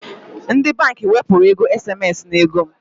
Ndi bank wepuru ego SMS n'ego m